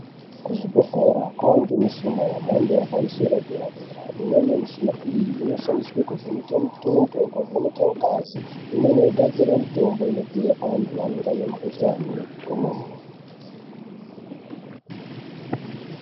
Kuzvibhedhlera kwanemushina yemhando ipamusoro dera dera. Imweni mishina iyi, inoshandiswe kovheneka mitundo, kovheneka ngazi. Imweni inogadzira mitombo inopiwa antu anenge anemkhuhlane kwemene.